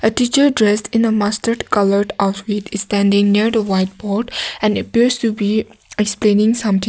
the teacher dressed in a mustard coloured outfit standing near the whiteboard and appears to be explaining something.